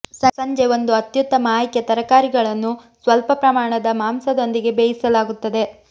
ಸಂಜೆ ಒಂದು ಅತ್ಯುತ್ತಮ ಆಯ್ಕೆ ತರಕಾರಿಗಳನ್ನು ಸ್ವಲ್ಪ ಪ್ರಮಾಣದ ಮಾಂಸದೊಂದಿಗೆ ಬೇಯಿಸಲಾಗುತ್ತದೆ